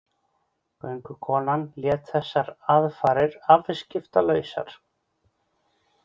Göngukonan lét þessar aðfarir afskiptalausar.